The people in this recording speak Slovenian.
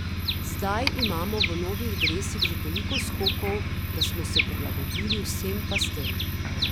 Zdaj imamo v novih dresih že toliko skokov, da smo se prilagodili vsem pastem.